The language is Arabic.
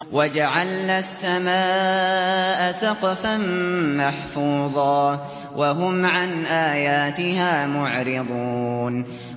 وَجَعَلْنَا السَّمَاءَ سَقْفًا مَّحْفُوظًا ۖ وَهُمْ عَنْ آيَاتِهَا مُعْرِضُونَ